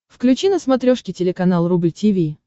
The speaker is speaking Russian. включи на смотрешке телеканал рубль ти ви